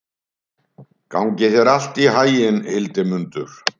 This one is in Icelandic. Gangi þér allt í haginn, Hildimundur.